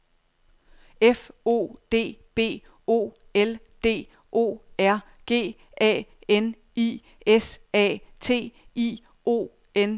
F O D B O L D O R G A N I S A T I O N E R N E